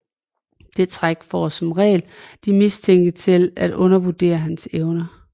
Det trick får som regel de mistænkte til at undervurdere hans evner